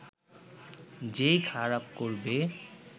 যে-ই খারাপ করবে